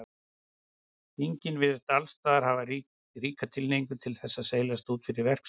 Þingin virðast og allsstaðar hafa ríka tilhneigingu til þess að seilast út fyrir verksvið sitt.